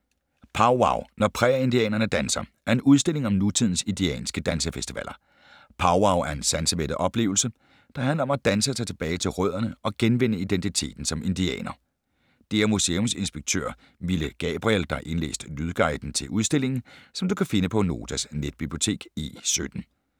"Powwow - Når prærieindianerne danser" er en udstilling om nutidens indianske dansefestivaler. Powwow er en sansemættet oplevelse, der handler om at danse sig tilbage til rødderne og genvinde identiteten som indianer. Det er museumsinspektør Mille Gabriel, der har indlæst lydguiden til udstillingen, som du kan finde på Notas netbibliotek E17.